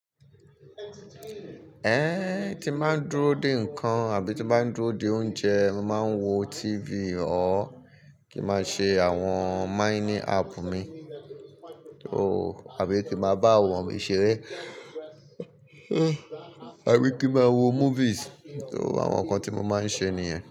Ẹn, tí n máa ń dúró dè nǹkan àbí tí mo máa ń dúró dè oúnjẹ, mo màá ń wo TV or kí màá ṣe àwọn mining app mi o àbí kí màá bá àwọn ori ṣeré, àbí kí màá wo movies, àwọn nǹkan tí mo máa ń ṣe nìyẹn.